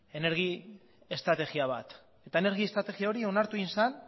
energia estrategia bat eta energia estrategia hori onartu egin zen